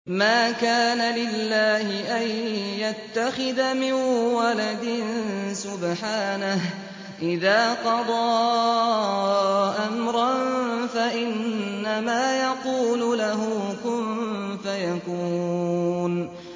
مَا كَانَ لِلَّهِ أَن يَتَّخِذَ مِن وَلَدٍ ۖ سُبْحَانَهُ ۚ إِذَا قَضَىٰ أَمْرًا فَإِنَّمَا يَقُولُ لَهُ كُن فَيَكُونُ